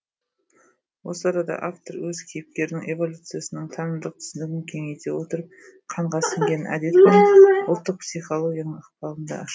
осы арада автор өз кейіпкерінің эволюциясының танымдық түсінігін кеңейте отырып қанға сіңген әдет пен ұлттық психологияның ықпалын да ашады